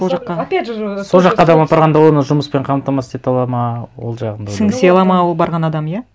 ол жаққа опять же сол жаққа адам апарғанда оны жұмыспен қамтамасыз ете алады ма ол жағын да сіңісе алады ма ол барған адам иә